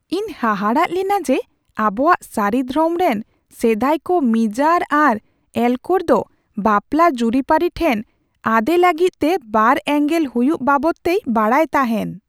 ᱤᱧ ᱦᱟᱦᱟᱲᱟᱜ ᱞᱮᱱᱟ ᱡᱮ ᱟᱵᱚᱣᱟᱜ ᱥᱟᱹᱨᱤ ᱫᱷᱨᱚᱢ ᱨᱮᱱ ᱥᱮᱫᱟᱭ ᱠᱚ ᱢᱤᱡᱟᱨ ᱟᱨ ᱮᱞᱠᱳᱨ ᱫᱚ ᱵᱟᱯᱞᱟ ᱡᱩᱨᱤᱯᱟᱹᱨᱤ ᱴᱷᱮᱱ ᱟᱸᱫᱮ ᱞᱟᱹᱜᱤᱫ ᱛᱮ ᱵᱟᱨᱼᱮᱸᱜᱮᱞ ᱦᱩᱭᱩᱜ ᱵᱟᱵᱚᱫᱛᱮᱭ ᱵᱟᱲᱟᱭᱛᱟᱦᱮᱱ ᱾